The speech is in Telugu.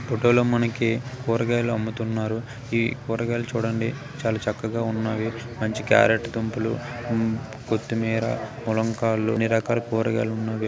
ఫోటోలో మనకి కూరగాయలు అమ్ముతున్నారు. ఈ కూరగాయలు చూడండి చాలా చక్కగా ఉన్నాయి. మంచి క్యారెట్ దుంపలు కొత్తిమీర ములక్కాడలు అన్ని రకాల కూరగాయలు ఉన్నవి.